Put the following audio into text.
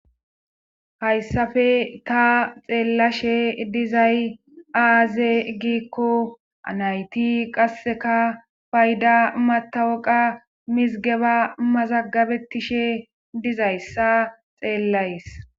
hayssafe ta xeellashe dizay aaze giikko anayti qasseka fayda matawoqa mizgeba mazagabetishe dizayssa xeellays